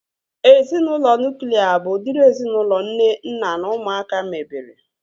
Ezinaụlọ nuklia bụ udiri ezinaụlọ nne, nna na ụmụaka mebere